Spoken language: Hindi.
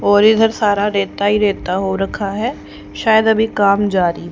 और इधर सारा रेता ही रेता हो रखा है शायद अभी काम जारी है--